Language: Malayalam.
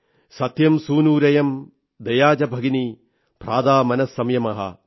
സത്യം സൂനുരയം ദയാ ച ഭഗിനീ ഭ്രാതാ മനഃ സംയമഃ